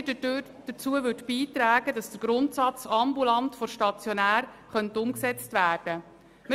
Denn sie würden auch wieder dazu beitragen, dass der Grundsatz «ambulant vor stationär» umgesetzt werden könnte.